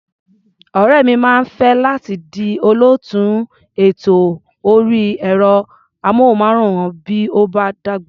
Ọ̀rẹ́ mi máa fẹ́ láti di olóòtú ètò orí ẹ̀rọ-amóhùnmáwòrán bí ó bá dàgbà.